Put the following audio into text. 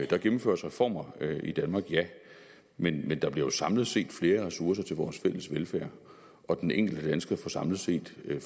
der gennemføres reformer i danmark ja men men der bliver jo samlet set flere ressourcer til vores fælles velfærd og den enkelte dansker får samlet set